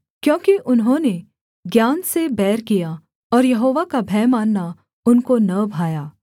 क्योंकि उन्होंने ज्ञान से बैर किया और यहोवा का भय मानना उनको न भाया